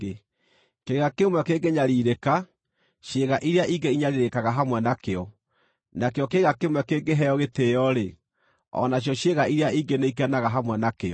Kĩĩga kĩmwe kĩngĩnyariirĩka, ciĩga iria ingĩ inyariirĩkaga hamwe nakĩo; nakĩo kĩĩga kĩmwe kĩngĩheo gĩtĩĩo-rĩ, o nacio ciĩga iria ingĩ nĩikenaga hamwe nakĩo.